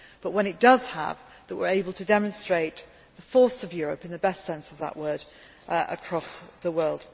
But when it does have that, we will be able to demonstrate the force of Europe in the best sense of that word across the world.